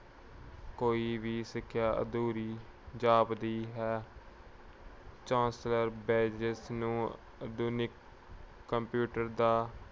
ਕੋਈ ਵੀ ਸਿੱਖਿਆ ਅਧੂਰੀ ਜਾਪਦੀ ਹੈ। ਚਾਰਲਸ ਬੈਬਜ ਨੂੰ ਆਧੁਨਿਕ computer ਦਾ